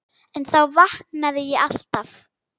En þá vaknaði ég alltaf.